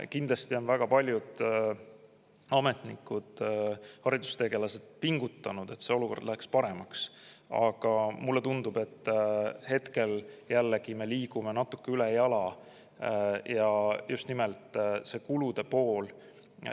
Kindlasti on väga paljud ametnikud ja haridustegelased pingutanud, et see olukord läheks paremaks, aga mulle tundub, et hetkel me jällegi natuke ülejala – just nimelt see kulude pool.